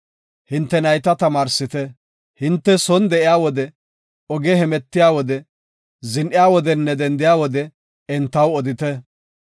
Hinte nayta tamaarsite. Hinte son de7iya wode, ogen hemetiya wode, zin7iya wodenne dendiya wode entaw odite.